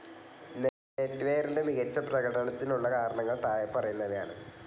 Net വെയറിൻ്റെ മികച്ച പ്രകടനത്തിനുള്ള കാരണങ്ങൾ താഴെപ്പറയുന്നവയാണ്.